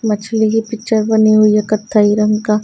मछली की पिक्चर बनी हुई है कथई रंग का--